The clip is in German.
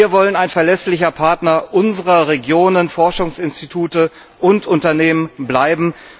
Wir wollen ein verlässlicher Partner unserer Regionen, Forschungsinstitute und Unternehmen bleiben.